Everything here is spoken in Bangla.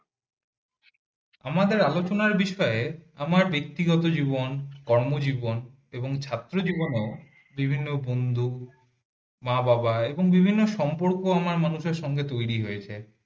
আমাদের আলোচনার বিষয়ে আমার ব্যক্তিগত জীবন কর্মজীবন এবং ছাত্র জীবনেও বিভিন্ন বন্ধু মা বাবা এমন বিভিন্ন সম্পর্ক আমার মানুষের সাথে তৈরি হয়েছে